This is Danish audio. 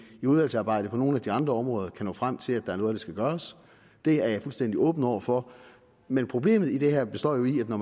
i udvalgsarbejdet på nogle af de andre områder kan nå frem til at der er noget af skal gøres det er jeg fuldstændig åben over for men problemet i det her består jo i at når